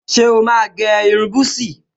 Ṣé o máa ní gẹ́ irun búsí?